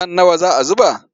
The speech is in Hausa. Man nawa za a zuba?